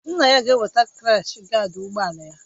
Nna ya ga-eweta krash gaad ụgbọ ala ya